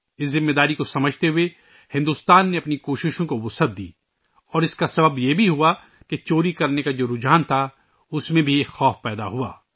اس ذمہ داری کا احساس کرتے ہوئے بھارت نے اپنی کوششیں بڑھائیں اور اس کی وجہ یہ بھی ہوا کہ چوری کا ، جو رجحان تھا ، اُس میں بھی ایک خوف پیدا ہوا